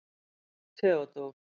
Theódór